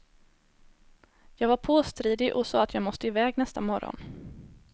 Jag var påstridig och sa att jag måste iväg nästa morgon.